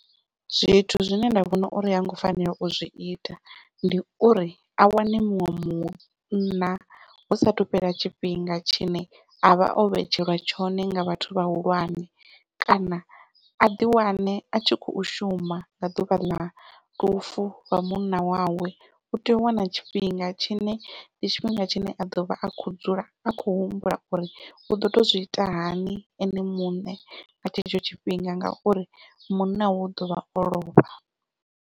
Zwithu zwine nda vhona uri ha ngo fanela u zwi ita ndi uri, a wane muṅwe munna hu sathu fhela tshifhinga tshine avha o vhetshelwa tshone nga vhathu vhahulwane, kana aḓi wane a tshi khou shuma nga ḓuvha ḽa lufu lwa munna wawe u tea u wana tshifhinga tshine ndi tshifhinga tshine a ḓovha a kho dzula a khou humbula uri u ḓo tou zwi ita hani ene muṋe nga tshetsho tshifhinga ngauri munna wawe u ḓovha o lovha.